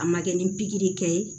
A ma kɛ ni pikiri kɛ ye